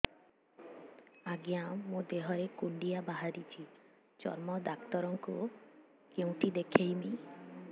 ଆଜ୍ଞା ମୋ ଦେହ ରେ କୁଣ୍ଡିଆ ବାହାରିଛି ଚର୍ମ ଡାକ୍ତର ଙ୍କୁ କେଉଁଠି ଦେଖେଇମି